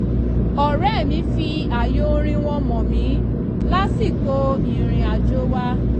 ọ̀rẹ́ mi fi ààyò orin wọn mọ̀ mí lásìkò ìrìn àjò wa